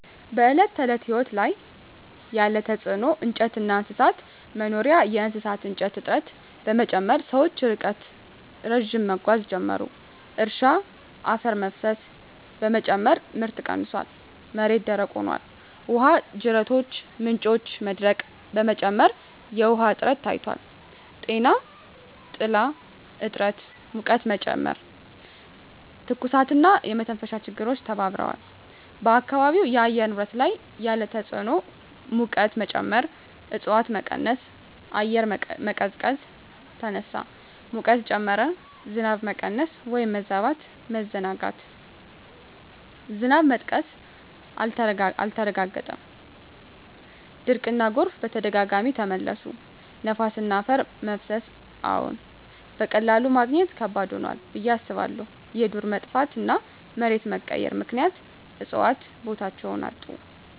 በዕለት ተዕለት ሕይወት ላይ ያለ ተጽዕኖ እንጨትና እንስሳት መኖሪያ የእሳት እንጨት እጥረት በመጨመር ሰዎች ርቀት ረዥም መጓዝ ጀመሩ። እርሻ አፈር መፍሰስ በመጨመር ምርት ቀንሷል፣ መሬት ደረቅ ሆኗል። ውሃ ጅረቶችና ምንጮች መድረቅ በመጨመር የውሃ እጥረት ታይቷል። ጤና ጥላ እጥረት ሙቀትን ጨመረ፣ የትኩሳትና የመተንፈሻ ችግሮች ተባብረዋል። በአካባቢው የአየር ንብረት ላይ ያለ ተጽዕኖ ሙቀት መጨመር እፅዋት በመቀነስ አየር መቀዝቀዝ ተነሳ፣ ሙቀት ጨመረ። ዝናብ መቀነስ/መበዛት መዘናጋት ዝናብ መጥቀስ አልተረጋገጠም፣ ድርቅና ጎርፍ በተደጋጋሚ ተመለሱ። ነፋስና አፈር መፍሰስ አዎን፣ በቀላሉ ማግኘት ከባድ ሆኗል ብዬ አስባለሁ። የዱር መጥፋትና መሬት መቀየር ምክንያት እፅዋት ቦታቸውን አጡ።